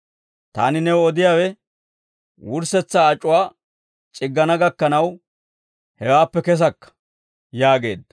Taani new odiyaawe, wurssetsaa ac'uwaa c'iggana gakkanaw hewaappe kesakka» yaageedda.